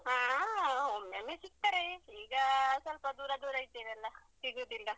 ಹಾ ಹಾ, ಒಮ್ಮೊಮ್ಮೆ ಸಿಗ್ತಾರೆ ಈಗ ಸ್ವಲ್ಪ ದೂರ ದೂರ ಇದ್ದೆವಲ್ಲ ಸಿಗುದಿಲ್ಲ.